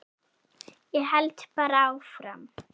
Ég held bara áfram.